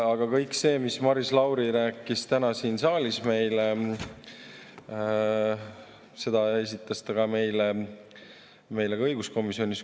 Aga kõike seda, mis Maris Lauri rääkis täna siin saalis, esitas ta meile ka õiguskomisjonis.